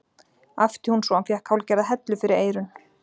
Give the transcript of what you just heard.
æpti hún svo hann fékk hálfgerða hellu fyrir eyrun.